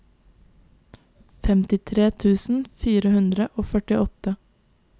femtitre tusen fire hundre og førtiåtte